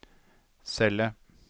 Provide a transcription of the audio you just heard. celle